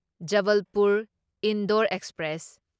Jabalpur Indore express